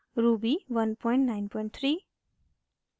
ruby193